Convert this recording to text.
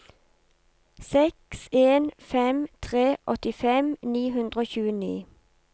seks en fem tre åttifem ni hundre og tjueni